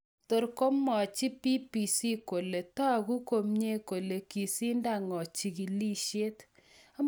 tor, komwachi BBC kole tagu komyee kole kasindangoo chigilisiet